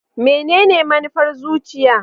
Menene manufar zuciya?